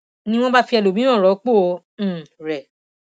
ni wọn bá fi ẹlòmíràn rọpò um rẹ